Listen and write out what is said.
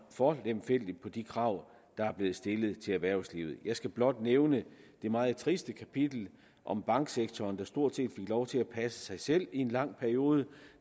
for lemfældigt på de krav der er blevet stillet til erhvervslivet jeg skal blot nævne det meget triste kapitel om banksektoren der stort set fik lov til at passe sig selv i en lang periode